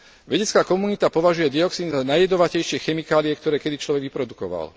Vedecká komunita považuje dioxín za najjedovatejšie chemikálie, ktoré kedy človek vyprodukoval.